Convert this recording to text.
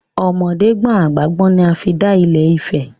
Ọmọdé gbọ́n àgbà gbọ́n ni a fi dálé Ifẹ̀.